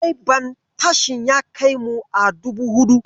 Direban tasin ya kai mu a dubu huɗu.